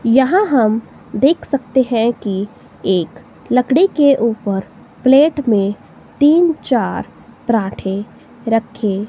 यहां हम देख सकते है कि एक लड़की के ऊपर प्लेट मे तीन चार पराठे रखे--